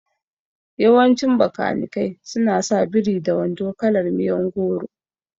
Yawancin Bakanikai su na sa biri da wando kalar miyon goro